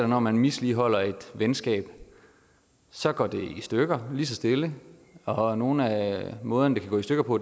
når man misligholder et venskab så går det i stykker lige så stille og nogle af måderne det kan gå i stykker på